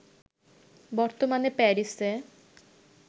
বর্তমানে প্যারিসে